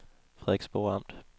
Frederiksborg Amt